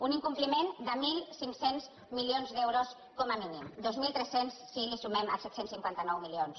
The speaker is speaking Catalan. un incompliment de mil cinc cents milions d’euros com a mínim dos mil tres cents si hi sumem els set cents i cinquanta nou milions